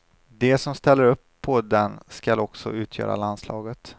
De som ställer upp på den skall också utgöra landslaget.